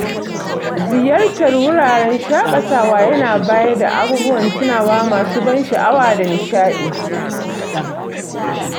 Ziyartar wuraren shaƙatawa yana bayar da abubuwan tunawa masu ban sha'awa da nishadi.